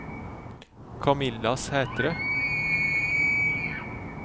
Camilla Sæthre